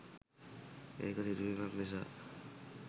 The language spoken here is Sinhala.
එක සිදුවීමක් නිසා